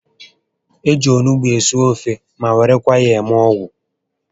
Eji onugbu esi ofe ma werekwa ya eme ọgwụ